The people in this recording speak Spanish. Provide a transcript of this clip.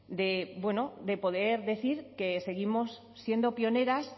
de poder decir que seguimos siendo pioneras